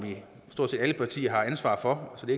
stort set alle partier har ansvar for så det